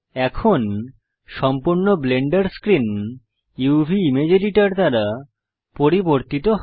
এখন সম্পূর্ণ Blender screen uvইমেজ এডিটর দ্বারা পরিবর্তিত হয়